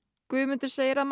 Guðmundur segir að